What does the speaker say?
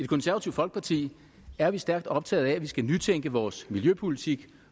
konservative folkeparti er vi stærkt optaget af at vi skal nytænke vores miljøpolitik